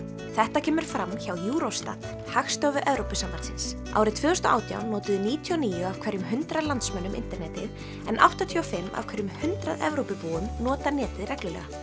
þetta kemur fram hjá Eurostat Hagstofu Evrópusambandsins árið tvö þúsund og átján notuðu níutíu og níu af hverjum hundrað landsmönnum internetið en áttatíu og fimm af hverjum hundrað Evrópubúum nota netið reglulega